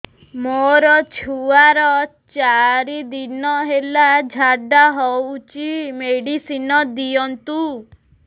ମୋର ଛୁଆର ଚାରି ଦିନ ହେଲା ଝାଡା ହଉଚି ମେଡିସିନ ଦିଅନ୍ତୁ